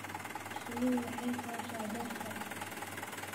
Shinnidu waxay fasha dhirta.